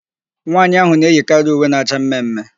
Nwaanyị ahụ na-eyikarị uwe na-acha mme mme.